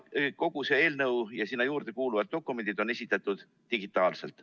Eelnõu ja selle juurde kuuluvad dokumendid on esitatud digitaalselt.